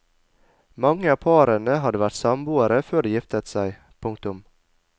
Mange av parene hadde vært samboere før de giftet seg. punktum